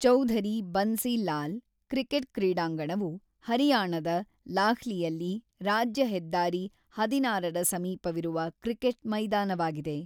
Chaudhary Bansi Lal cricket ಕ್ರೀಡಾಂಗಣವು ಹರಿಯಾಣದ ಲಾಹ್ಲಿಯಲ್ಲಿ ರಾಜ್ಯ ಹೆದ್ದಾರಿ ಹದಿನಾರರ ಸಮೀಪವಿರುವ ಕ್ರಿಕೆಟ್ ಮೈದಾನವಾಗಿದೆ.